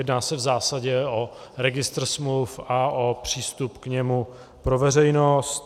Jedná se v zásadě o registr smluv a o přístup k němu pro veřejnost.